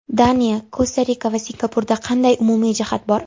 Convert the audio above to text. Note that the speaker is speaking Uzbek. Daniya, Kosta-Rika va Singapurda qanday umumiy jihat bor?